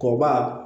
Kɔba